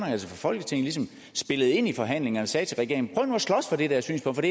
altså folketinget spillede ind i forhandlingerne og sagde til regeringen prøv nu at slås for det dér synspunkt